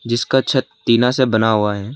जिसका छत टीना से बना हुआ है।